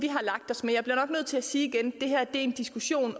sti